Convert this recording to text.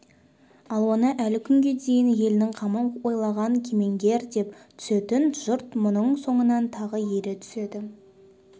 ал оны әлі күнге дейін елінің қамын ойлаған кемеңгер деп түсінетін жұрт мұның соңынан тағы ере түседі